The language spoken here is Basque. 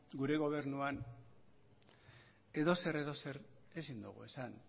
gure gobernuan edozer edozer ezin dugu esan